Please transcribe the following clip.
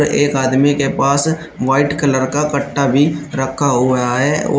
एक आदमी के पास व्हाइट कलर का कट्टा भी रखा हुआ है।